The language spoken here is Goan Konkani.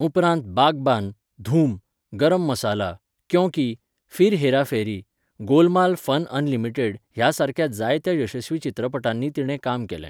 उपरांत बाघबान, धूम, गरम मसाला, क्यों की, फिर हेरा फेरी, गोलमाल फन अनलिमिटेड ह्या सारक्या जायत्या यशस्वी चित्रपटांनी तिणें काम केलें.